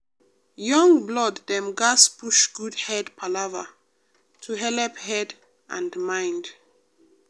young blood dem gatz push good head palava to helep head and mind.